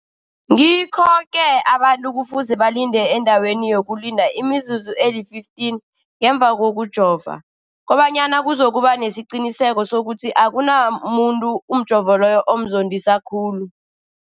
Ngikho-ke boke abantu kufuze balinde endaweni yokulinda imizuzu eli-15 ngemva kokujova, koba nyana kuzokuba nesiqiniseko sokuthi akunamuntu umjovo loyo omzondisa khulu.